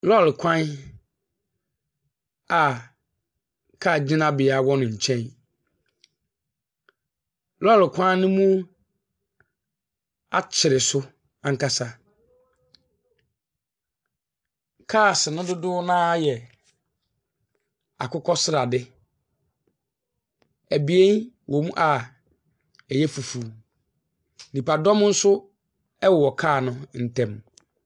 Lɔɔre kwa a kaa gyinabea wɔ ne nkyɛn. Lɔɔre kwan no mu akyere so ankasa. Kaase no dodoɔ no ara yɛ akokɔsrade. Abien wɔ mu a ɛyɛ fufuw. Nipadɔm nso wɔ kaa no ntam.